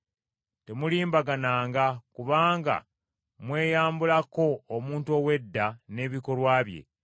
Temulimbagananga kubanga mweyambulako omuntu ow’edda n’ebikolwa bye,